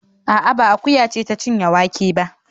A'a, ba akuya ce ta cinye wake ba